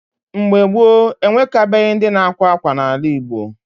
Mgbe gboo, ewekabeghị ndi na-akwa akwa n’ala Igbo.